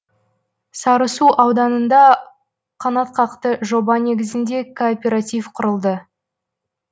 сарысу ауданында қанатқақты жоба негізінде кооператив құрылды